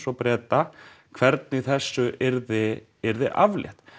og Breta hvernig þessu yrði yrði aflétt